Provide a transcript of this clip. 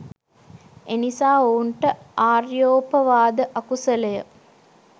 එනිසා ඔවුන්ට ආර්යෝපවාද අකුසලය